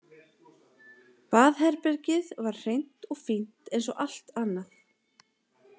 Baðherbergið var hreint og fínt eins og allt annað.